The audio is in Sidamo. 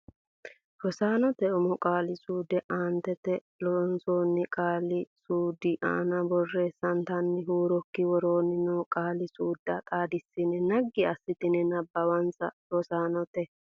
Rosaanote umo qaali suude aantete Loossinanni qaale saleedu aana borreessitanni huurokki Woroonni noo qaali suudda xaadissine naggi assite nabbawinsa Rosaanote.